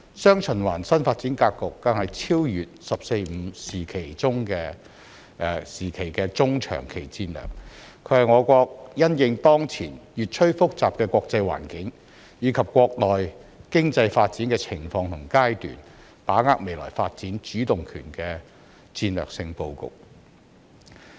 "雙循環"新發展格局更超越"十四五"時期的中長期戰略，是我國因應當前越趨複雜的國際環境，以及國內經濟發展的情況和階段，把握未來發展主動權的戰略性布局。